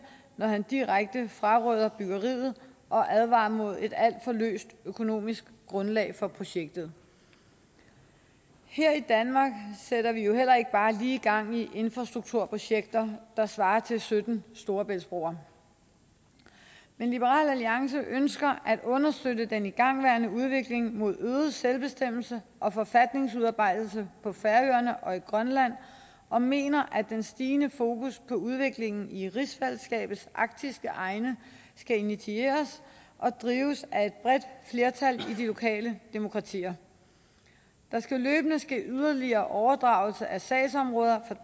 når han direkte fraråder byggeriet og advarer imod et alt for løst økonomisk grundlag for projektet her i danmark sætter vi jo heller ikke bare lige gang i infrastrukturprojekter der svarer til sytten storebæltsbroer men liberal alliance ønsker at understøtte den igangværende udvikling mod øget selvbestemmelse og forfatningsudarbejdelse på færøerne og i grønland og mener at den stigende fokus på udviklingen i rigsfællesskabets arktiske egne skal initieres og drives af et bredt flertal i de lokale demokratier der skal løbende ske yderligere overdragelse af sagsområder